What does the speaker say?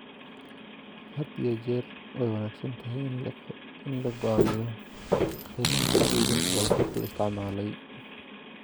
Had iyo jeer way wanaagsan tahay in la go'aamiyo qiimaha dib u iibinta baabuurka la isticmaalay.